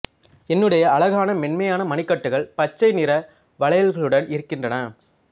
என்னுடைய அழகான மென்மையான மணிக்கட்டுகள் பச்சை நிற வளையல்களுடன் இருக்கின்றன